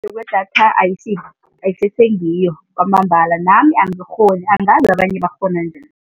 Kwedatha ayisese ngiyo kwamambala. Nami angikghoni, angazi abanye bakghona njani.